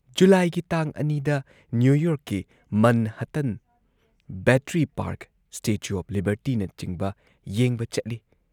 ꯖꯨꯂꯥꯏꯒꯤ ꯇꯥꯡ ꯲ ꯗ ꯅ꯭ꯌꯨ ꯌꯣꯔꯛꯀꯤ Manhattan, Battery Park, statue of ꯂꯤꯕꯔꯇꯤꯅꯆꯤꯡꯕ ꯌꯦꯡꯕ ꯆꯠꯂꯤ ꯫